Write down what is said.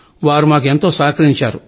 వారు మాకు ఎంతో సహకరించారు